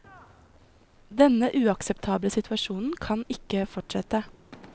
Denne uakseptable situasjonen kan ikke fortsette.